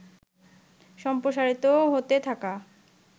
সমপ্রসারিত হতে থাকা